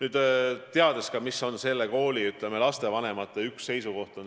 Me teame ka selle kooli lastevanemate seisukohta.